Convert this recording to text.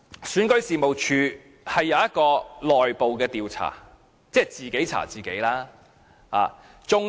選舉事務處現時正進行內部調查，即自己查自己。